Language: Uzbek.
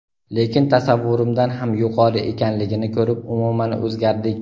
lekin tasavvurimdan ham yuqori ekanligini ko‘rib umuman o‘zgardik.